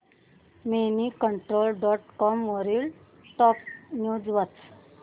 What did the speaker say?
Moneycontrol dot com वरील top news वाच